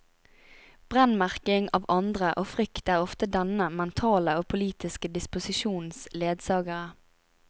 Brennemerking av andre og frykt er ofte denne mentale og politiske disposisjons ledsagere.